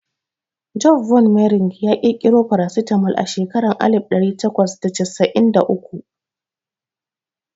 Joseph von Mering ya ƙirƙiro farasitamol a shekaran alif ɗari takwas da fasalin da uku